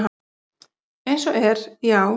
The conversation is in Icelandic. Eins og er, já.